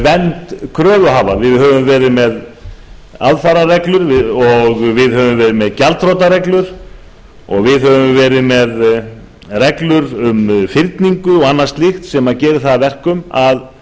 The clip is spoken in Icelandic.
vernd kröfuhafa við höfum verið með aðfararreglur og við höfum verið með gjaldþrotareglur og við höfum verið með reglur um fyrningu og annað slíkt sem gerir það að verkum að